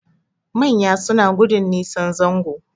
Manya suna gudun nisan zango